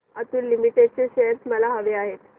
Atul limited चे shares मला हवे आहेत